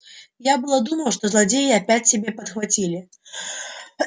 я было думал что злодеи опять тебе подхватили